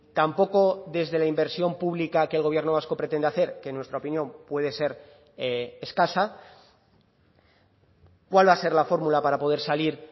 tampoco desde la inversión pública que el gobierno vasco pretende hacer que en nuestra opinión puede ser escasa cuál va a ser la fórmula para poder salir